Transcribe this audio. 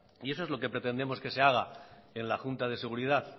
y eso es lo que pretendemos que se haga en la junta de seguridad